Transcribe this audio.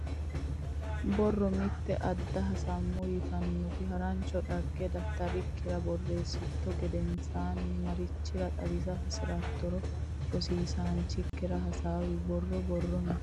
Borro Mitte Aadde Hasamo yitannota harancho dhagge daftarikkira borreessitto tta gedensaanni marichire xawisa hasi roottoro rosiisaanchikki hasaawi Borro Borro Mitte.